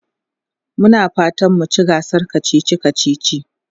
Muna fatan mu ci gasar kacici kacici.